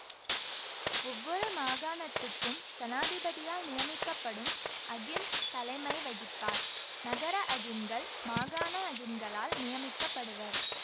ஒவ்வொரு மாகாணத்துக்கும் சனாதிபதியால் நியமிக்கப்படும் அகிம் தலைமை வகிப்பார் நகர அகிம்கள் மாகாண அகிம்களால் நியமிக்க படுவர்